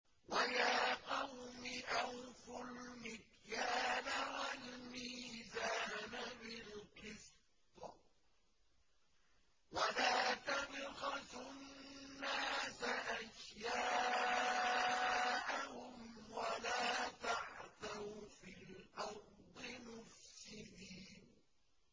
وَيَا قَوْمِ أَوْفُوا الْمِكْيَالَ وَالْمِيزَانَ بِالْقِسْطِ ۖ وَلَا تَبْخَسُوا النَّاسَ أَشْيَاءَهُمْ وَلَا تَعْثَوْا فِي الْأَرْضِ مُفْسِدِينَ